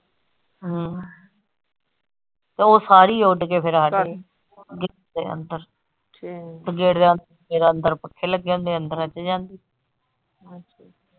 ਹਾਂ ਤੇ ਉਹ ਸਾਰੀ ਉੱਡ ਕੇ ਫਿਰ ਆ ਦੇ ਅੰਦਰ ਅੰਦਰ ਪੱਖੇ ਲੱਗੇ ਹੁੰਦੇ ਆ ਅੰਦਰਾਂ ਚ ਜਾਂ .